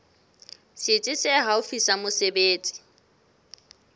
setsi se haufi sa mesebetsi